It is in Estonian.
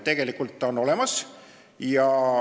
Tegelikult on see olemas.